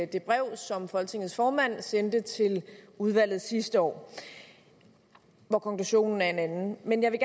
det brev som folketingets formand sendte til udvalget sidste år og hvor konklusionen er en anden men jeg vil